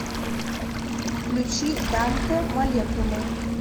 включи данте молекулы